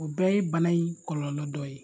O bɛɛ ye bana in kɔlɔlɔ dɔ ye.